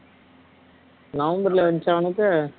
நவம்பர்லிய வந்துச்சு அவனுக்கு